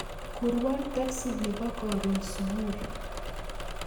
Kurwon teksi nepo korun supui